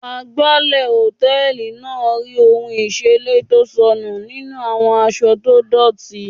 Agbálẹ̀ hòtẹ́ẹ̀lì náà rí ohun ìseré tó sọnù nínú àwọn aṣọ tó dọ́tì.